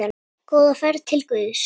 Góða ferð til Guðs.